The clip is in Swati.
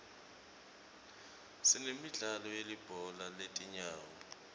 sinemidlalo yelibhola letinyawo